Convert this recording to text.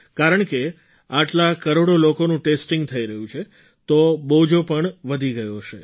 કારણકે આટલા કરોડો લોકોનું ટેસ્ટિંગ થઈ રહ્યું છે તો બોજો પણ વધી ગયો હશે